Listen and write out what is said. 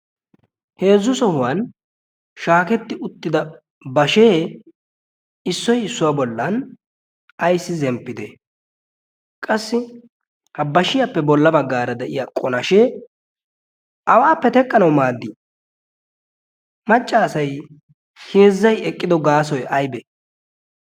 heezzu sohuwan shaaketti uttida bashee issoi issuwaa bollan aissi zemppite? qassi ha bashiyaappe bolla baggaara de7iya qonashee awaappe teqqanawu maaddii? maccaasai heezzai eqqido gaasoi aibee?